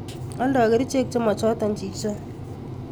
Oldo kerichek chemochoton chichon.